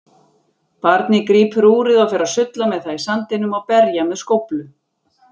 Barnið grípur úrið og fer að sulla með það í sandinum og berja með skóflu.